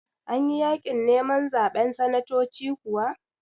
Anyi yaƙin neman zaɓen sanatoci kuwa?